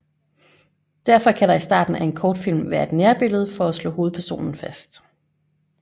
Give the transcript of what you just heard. Derfor kan der i starten af en kortfilm være et nærbillede for at slå hovedpersonen fast